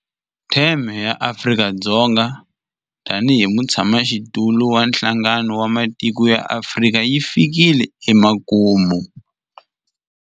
Theme ya Afrika-Dzonga tanihi mutshamaxitulu wa Nhlangano wa Matiko ya Afrika yi fikile emakumu.